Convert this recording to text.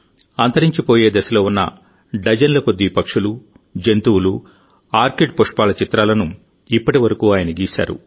అంతరించిపోయే దశలో ఉన్న డజన్ల కొద్దీ పక్షులు జంతువులు ఆర్కిడ్ పుష్పాల చిత్రాలను ఇప్పటి వరకు ఆయన గీశారు